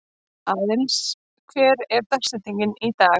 Aðlis, hver er dagsetningin í dag?